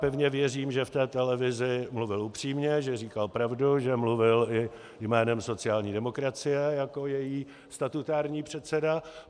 Pevně věřím, že v té televizi mluvil upřímně, že říkal pravdu, že mluvil i jménem sociální demokracie jako její statutární předseda.